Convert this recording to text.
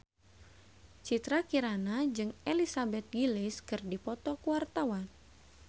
Citra Kirana jeung Elizabeth Gillies keur dipoto ku wartawan